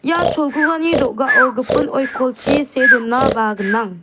ia cholgugani do·gao gipin oikolchi see donaba gnang.